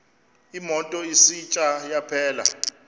imoto isitsha yaphela